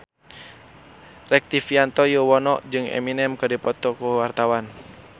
Rektivianto Yoewono jeung Eminem keur dipoto ku wartawan